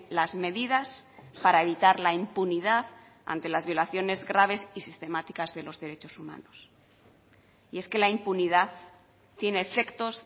las medidas para evitar la impunidad ante las violaciones graves y sistemáticas de los derechos humanos y es que la impunidad tiene efectos